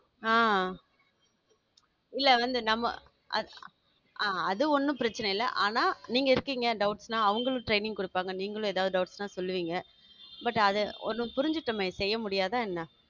ஆ இல்ல வந்து நம்ம அ~ அது ஒண்ணும் பிரச்சனை இல்ல ஆனா நீங்க இருக்கீங்க doubt ன்னா அவங்களும் training குடுப்பாங்க நீங்களும் எதாவது doubts னா சொல்லுவீங்க but அது ஒண்ணு புரிஞ்சுட்டமே செய்ய முடியாதா என்ன?